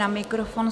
Na mikrofon.